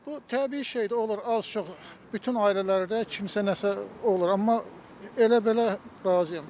Bu təbii şeydir, olur az-çox bütün ailələrdə kimsə nəsə olur, amma elə-belə razıyam.